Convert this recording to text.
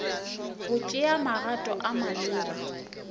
go tšea magato a maleba